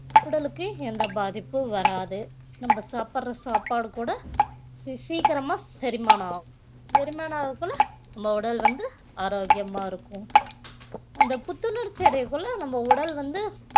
உடலுக்கு எந்த பாதிப்பும் வராது நம்ம சாப்பிடுற சாப்பாடு கூட சீ~ சீக்கிரமா செரிமானம் ஆகும் செரிமானம் ஆகுறதுக்குள்ள நம்ம உடல் வந்து ஆரோக்கியமா இருக்கும் இந்த புத்துணர்ச்சி அடையக்குள்ள நம்ம உடல் வந்து